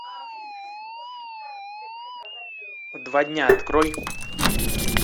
два дня открой